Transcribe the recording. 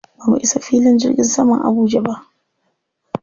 Ba mu isa filin jirgin saman Abuja ba.